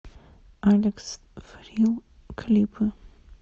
алекс фрил клипы